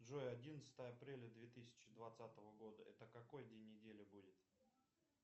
джой одиннадцатое апреля две тысячи двадцатого года это какой день недели будет